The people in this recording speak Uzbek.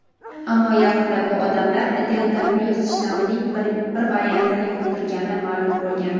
ammo yaqinda bu odamlar "delta plyus" shtammining bir variantini yuqtirgani ma’lum bo‘lgan.